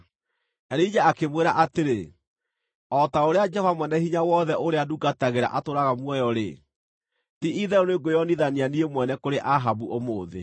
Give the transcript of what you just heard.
Elija akĩmwĩra atĩrĩ, “O ta ũrĩa Jehova Mwene-Hinya-Wothe ũrĩa ndungatagĩra atũũraga muoyo-rĩ, ti-itherũ nĩngwĩonithania niĩ mwene kũrĩ Ahabu ũmũthĩ.”